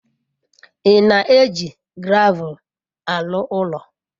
Ị na-eji gravel arụ ụlọ?